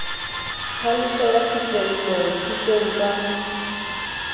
tlhaloso ya phihlello thutong ka